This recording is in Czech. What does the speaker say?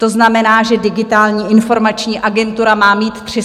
To znamená, že Digitální informační agentura má mít 315 lidí?